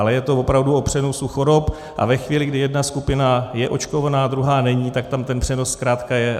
Ale je to opravdu o přenosu chorob, a ve chvíli, kdy jedna skupina je očkovaná a druhá není, tak tam ten přenos zkrátka je.